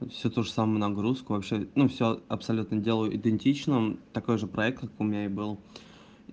всю ту же самую нагрузку вообще ну все абсолютно делаю идентично такой же проект как у меня и был